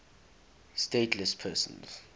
stateless persons